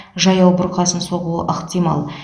жаяу бұрқасын соғуы ықтимал